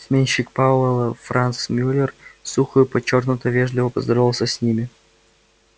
сменщик пауэлла франц мюллер сухо и подчёркнуто вежливо поздоровался с ними